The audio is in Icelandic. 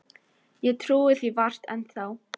Ég trúi því vart enn þá.